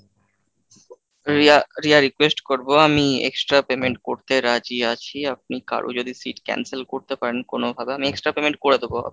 Riya Riya, request করবো আমি extra payment করতে রাজি আছি, আপনি কারো যদি seat cancel করতে পারেন কোনো ভাবে আমি extra payment করে দেবো।